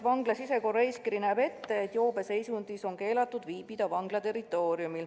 Vangla sisekorraeeskiri näeb ette, et joobeseisundis on vangla territooriumil keelatud viibida.